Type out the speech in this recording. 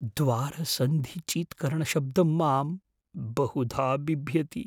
द्वारसन्धिचीत्करणशब्दं मां बहुधा बिभ्यति।